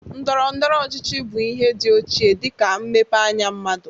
Ndọrọndọrọ ọchịchị bụ ihe dị ochie dịka mmepe anya mmadụ.